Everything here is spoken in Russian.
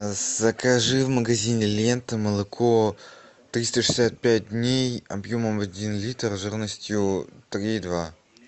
закажи в магазине лента молоко триста шестьдесят пять дней объемом один литр жирностью три и два